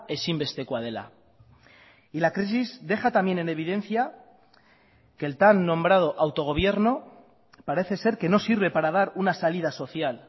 ezinbestekoa dela y la crisis deja también en evidencia que el tan nombrado autogobierno parece ser que no sirve para dar una salida social